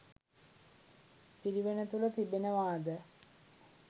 පිරිවෙන තුළ තිබෙනවාද?